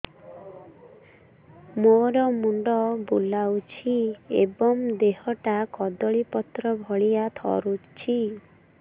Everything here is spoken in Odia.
ମୋର ମୁଣ୍ଡ ବୁଲାଉଛି ଏବଂ ଦେହଟା କଦଳୀପତ୍ର ଭଳିଆ ଥରୁଛି